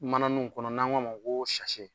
Mananiw kɔnɔ n'an k'a ma ko .